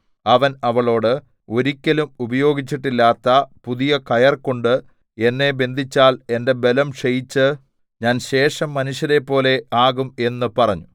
അവൻ അവളോട് ഒരിക്കലും ഉപയോഗിച്ചിട്ടില്ലാത്ത പുതിയ കയർ കൊണ്ട് എന്നെ ബന്ധിച്ചാൽ എന്റെ ബലം ക്ഷയിച്ച് ഞാൻ ശേഷം മനുഷ്യരെപ്പോലെ ആകും എന്ന് പറഞ്ഞു